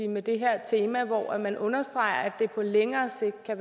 med det her tema hvor man understreger at det på længere sigt